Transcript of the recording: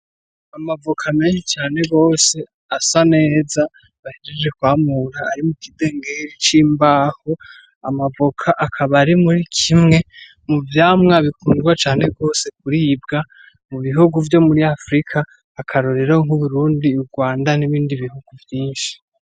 Amavoka menshi cane gose asa neza bahejeje kwamura ari mu kidengeri c'imbaho, amavoka akaba ari muri kimwe mu vyamwa bikundwa cane gose kuribwa mu bihugu vyo muri Africa akarorero nk'uburundi, urwanda n'ibindi bihugu vyinshi.